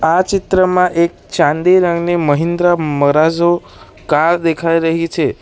આ ચિત્રમાં એક ચાંદી રંગને મહેન્દ્ર મરાજો કાર દેખાઈ રહી છે.